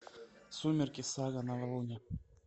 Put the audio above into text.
сумерки сага новолуние